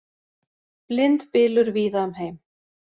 Blindbylur víða um heim